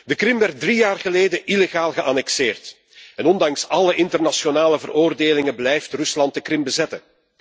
De Krim werd drie jaar geleden illegaal geannexeerd en ondanks alle internationale veroordelingen blijft Rusland de Krim bezetten.